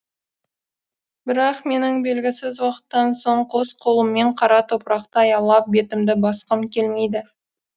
бірақ менің белгісіз уақыттан соң қос қолыммен қара топырақты аялап бетімді басқым келмейді